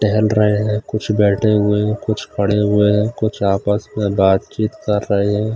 टहल रहे हैं कुुछ बैठे हुए कुछ खड़े हुए हैं कुछ आपस में बातचीत कर रहे हैं।